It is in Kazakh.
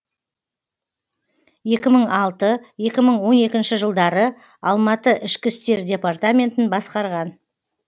екі мың алты екі мың он екінші жылдары алматы ішкі істер департаментін басқарған